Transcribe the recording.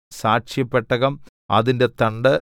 സാക്ഷ്യപെട്ടകം അതിന്റെ തണ്ട്